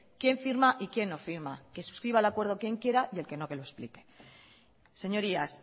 quién firma y quién no firma que suscriba el acuerdo quien quiera y el que no que lo explique señorías